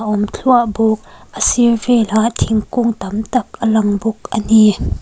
a awm thluah bawk a sir velah thingkung tam tak a lang bawk ani.